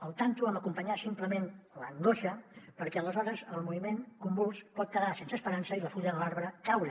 alerta amb acompanyar simplement l’angoixa perquè aleshores el moviment convuls pot quedar sense esperança i la fulla de l’arbre caure